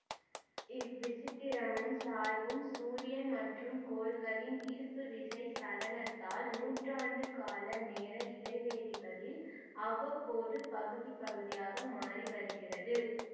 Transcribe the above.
இவ்விசித்திரமும் சாய்வும் சூரியன் மற்றும் கோள்களின் ஈர்ப்புவிசை சலனத்தால் நூற்றாண்டு கால நேர இடைவெளிகளில் அவ்வப்போது பகுதிபகுதியாக மாறிவருகிறது